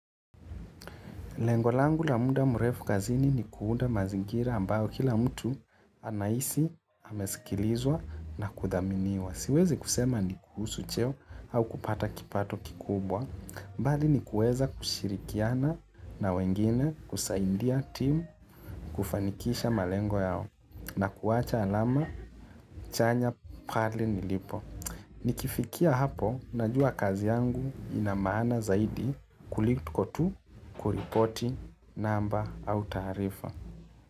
Lengo langu la muda mrefu kazini ni kuunda mazingira ambayo kila mtu anahisi amesikilizwa na kuthaminiwa. Siwezi kusema ni kuhusu cheo au kupata kipato kikubwa. Bali ni kueza kushirikiana na wengine kusaidia team kufanikisha malengo yao na kuwacha alama chanya pahali nilipo. Nikifikia hapo, najua kazi yangu ina maana zaidi kuliko tu kuripoti namba au taarifa.